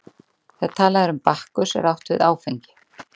þegar talað er um bakkus er átt við áfengi